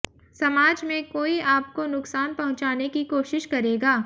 समाज में कोई आपको नुकसान पहुंचाने की कोशिश करेगा